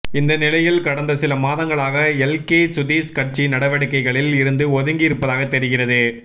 இந்த நிலையில் கடந்த சில மாதங்களாக எல்கே சுதீஷ் கட்சி நடவடிக்கைகளில் இருந்து ஒதுங்கி இருப்பதாக தெரிகிறது